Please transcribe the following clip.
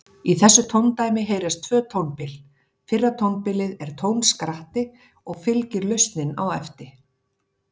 Í þessu tóndæmi heyrast tvö tónbil, fyrra tónbilið er tónskratti og fylgir lausnin á eftir.